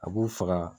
A b'u faga